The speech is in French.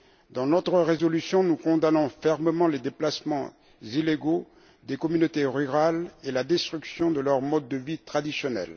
Dans notre résolution, nous condamnons fermement les déplacements illégaux des communautés rurales et la destruction de leur mode de vie traditionnel.